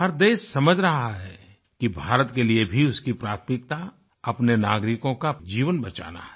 हर देश समझ रहा है कि भारत के लिए भी उसकी प्राथमिकता अपने नागरिकों का जीवन बचाना है